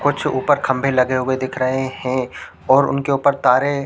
कुछ ऊपर खंभे लगे हुए दिख रहे है और उनके ऊपर तारे --